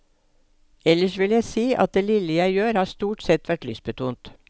Ellers vil jeg si at det lille jeg gjør har stort sett vært lystbetont.